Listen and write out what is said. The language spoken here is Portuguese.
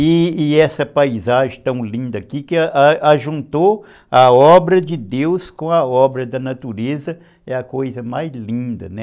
E essa paisagem tão linda aqui, que juntou a obra de Deus com a obra da natureza, é a coisa mais linda, né?